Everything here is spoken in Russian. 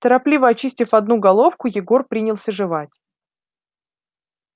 торопливо очистив одну головку егор принялся жевать